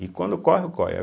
E quando ocorre, ocorre.